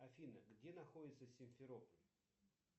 афина где находится симферополь